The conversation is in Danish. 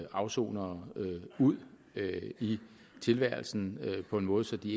afsonere ud i tilværelsen på en måde så de